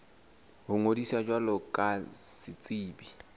ho ngodisa jwalo ka setsebi